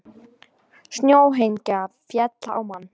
Snjóhengja féll á mann